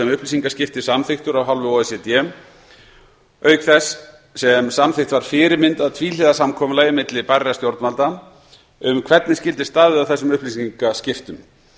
upplýsingaskipti samþykktur af hálfu o e c d auk þess sem samþykkt var fyrirmynd að tvíhliða samkomulagi milli bærra stjórnvalda um hvernig skyldi staðið að þessum upplýsingaskiptum